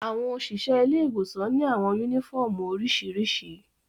Awọn oṣiṣẹ ile-iwosan ni awọn uniƒọmú oriṣiriṣi.